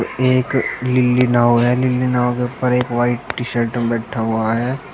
एक नीली नाव है नीली नाव के ऊपर एक व्हाइट टी शर्ट में बैठा हुआ है।